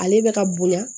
Ale bɛ ka bonya